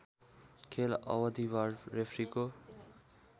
खेल अवधिभर रेफ्रीको